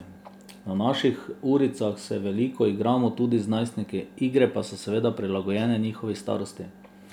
Na naših uricah se veliko igramo tudi z najstniki, igre pa so seveda prilagojene njihovi starosti.